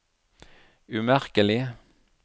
umerkelig